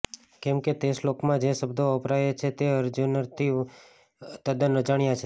કેમ કે તે શ્લોકમાં જે શબ્દો વપરાયા છે તે અર્જુનથી તદ્દન અજાણ્યા છે